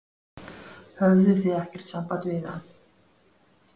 Höfðuð þið ekkert samband við hann?